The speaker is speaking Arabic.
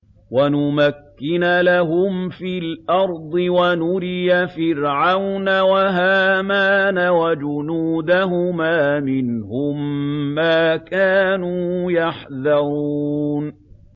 وَنُمَكِّنَ لَهُمْ فِي الْأَرْضِ وَنُرِيَ فِرْعَوْنَ وَهَامَانَ وَجُنُودَهُمَا مِنْهُم مَّا كَانُوا يَحْذَرُونَ